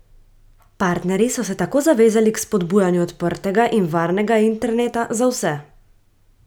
Partnerji so se tako zavezali k spodbujanju odprtega in varnega interneta za vse.